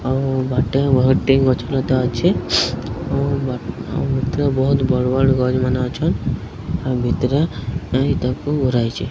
ଆଉ ବାଟରେ ବହୁତ୍ ଟି ଗଛ ଲତା ଅଛି ଆଉ ଭିତରେ ବୋହୁତ ବଡ୍ ବଡ୍ ଗଛ୍ ମାନେ ଅଛନ୍ ଆଉ ଭିତରେ କେହି ତାକୁ ଗୁରାଇଛି।